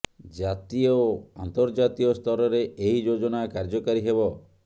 ଜାତୀୟ ଓ ଆର୍ନ୍ତଜାତୀୟ ସ୍ତରରେ ଏହି ଯୋଜନା କାର୍ଯ୍ୟକାରୀ ହେବ